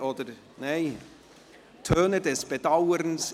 «Worte» oder «Töne des Bedauerns».